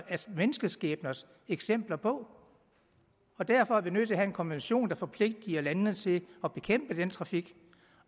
menneskeskæbners eksempler på og derfor er vi nødt til at have en konvention der forpligter landene til at bekæmpe den trafik